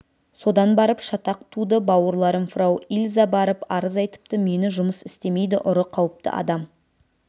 содан барып шатақ туды бауырларым фрау ильза барып арыз айтыпты мені жұмыс істемейді ұры қауіпті адам